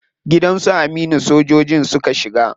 Gidan su Aminu sojojin suka shiga.